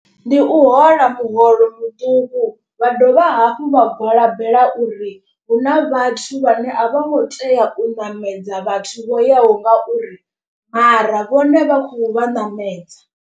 Ndi u hola muholo muṱuku vha dovha hafhu vha gwalabela uri. Hu na vhathu vhane a vho ngo tea u ṋamedza vhathu vho yaho ngauri mara vhone vha khou vha ṋamedza.